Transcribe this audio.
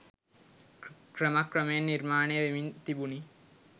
ක්‍රම ක්‍රමයෙන් නිර්මාණය වෙමින් තිබුණි‍.